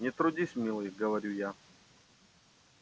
не трудись милый говорю я